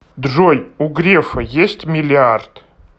джой у грефа есть миллиард